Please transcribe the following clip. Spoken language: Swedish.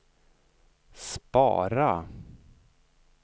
spara